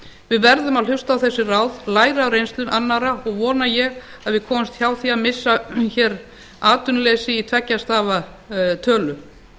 við verðum að hlusta á þessi ráð læra af reynslu annarra og vona ég að við komumst hjá því að missa hér atvinnuleysið í tveggja stafa tölu